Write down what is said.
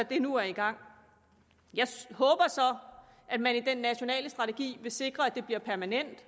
det nu er i gang jeg håber så at man i den nationale strategi vil sikre at det bliver permanent